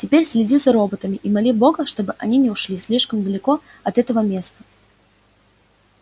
теперь следи за роботами и моли бога чтобы они не ушли слишком далеко от этого места